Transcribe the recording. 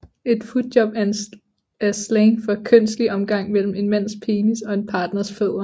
Et footjob er slang for kønslig omgang mellem en mands penis og en partners fødder